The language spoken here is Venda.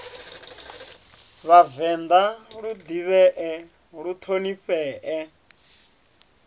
vhavenḓa lu ḓivhee lu ṱhonifhee